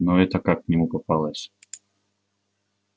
но эта как к нему попалась